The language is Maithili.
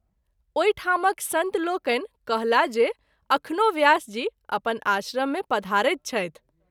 ओहि ठामक संत लोकनि कहला जे अखनो व्यास जी अपन आश्रम मे पधारैत छथि।